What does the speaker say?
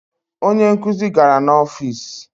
Onye nkuzi gara n'ọfịs